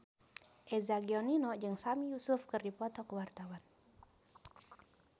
Eza Gionino jeung Sami Yusuf keur dipoto ku wartawan